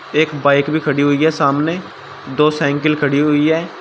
एक बाइक भी खड़ी हुई है सामने दो साइकिल खड़ी हुई है।